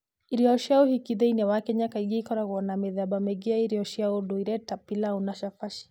Irio cia ũhiki thĩinĩ wa Kenya kaingĩ ikoragwo na mĩthemba mĩingĩ ya irio cia ũndũire, ta pilau na chapati.